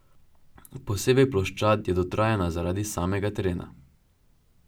Posebej ploščad je dotrajana zaradi samega terena.